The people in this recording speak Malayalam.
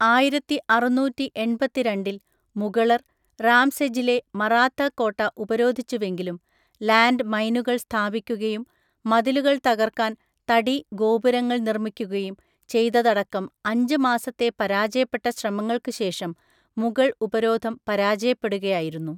ആയിരത്തിഅറുന്നൂറ്റിഎൺപത്തിരണ്ടിൽ മുഗളർ, റാംസെജിലെ മറാത്ത കോട്ട ഉപരോധിച്ചുവെങ്കിലും ലാൻഡ് മൈനുകൾ സ്ഥാപിക്കുകയും മതിലുകൾ തകർക്കാൻ തടി ഗോപുരങ്ങൾ നിർമ്മിക്കുകയും ചെയ്തതടക്കം അഞ്ച് മാസത്തെ പരാജയപ്പെട്ട ശ്രമങ്ങൾക്ക് ശേഷം മുഗൾ ഉപരോധം പരാജയപ്പെടുകയായിരുന്നു.